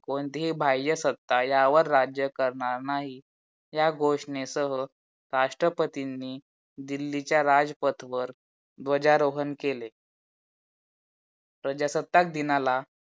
कोणतीही बाह्य सत्ता यावर राज्य करणार नाही. या घोषणेसह राष्ट्रपतिनि दिल्लीच्या राजपथ वर ध्वजारोहण केले. प्रजासत्ताक दिना ला